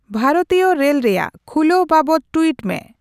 ᱵᱷᱟᱨᱚᱛᱤᱭᱚ ᱨᱮᱞ ᱨᱮᱭᱟᱜ ᱠᱷᱩᱞᱟᱹᱣ ᱵᱟᱵᱚᱛ ᱴᱩᱭᱤᱴ ᱢᱮ